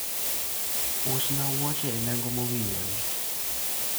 usna wuoche e nengo mowinjore